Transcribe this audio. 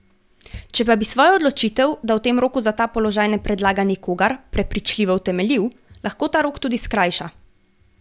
Če pa bi svojo odločitev, da v tem roku za ta položaj ne predlaga nikogar, prepričljivo utemeljil, lahko ta rok tudi skrajša.